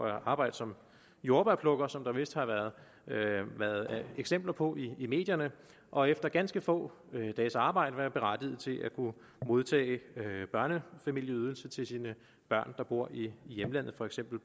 at arbejde som jordbærplukker som der vist har været eksempler på i medierne og efter ganske få dages arbejde være berettiget til at kunne modtage børnefamilieydelse til sine børn der bor i hjemlandet for eksempel